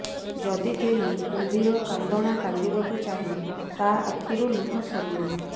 ଯଦି କେହି କୁମ୍ଭୀରକାନ୍ଦଣା କାନ୍ଦିବାକୁ ଚାହେଁ ତା ଆଖିରୁ ଲୁହ ସରିବ ନାହିଁ